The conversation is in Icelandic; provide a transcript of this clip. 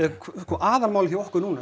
aðalmálið hjá okkur núna